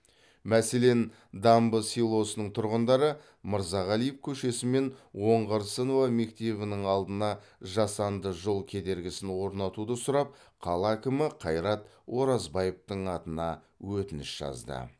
мәселен дамбы селосының тұрғындары мырзағалиев көшесі мен оңғарсынова мектебінің алдына жасанды жол кедергісін орнатуды сұрап қала әкімі қайрат оразбаевтың атына өтініш жазды